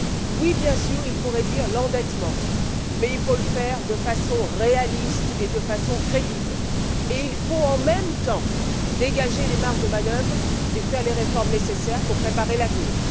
Oui, bien sûr, il faut réduire l'endettement, mais il faut le faire de façon réaliste et crédible, et il faut en même temps dégager ces marges de manœuvre et opérer les réformes nécessaires pour préparer l'avenir.